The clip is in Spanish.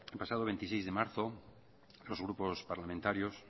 pasado veintiséis de marzo los grupos parlamentarios